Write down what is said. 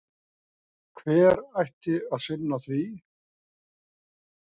Hver ætti að sinna því?